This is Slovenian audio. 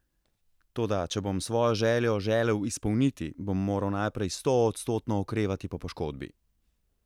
Toda če bom svojo željo želel izpolniti, bom moral najprej stoodstotno okrevati po poškodbi.